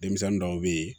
Denmisɛnnin dɔw bɛ ye